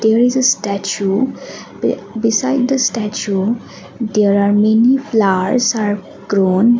there is a statue b beside the statue there are many flowers are grown.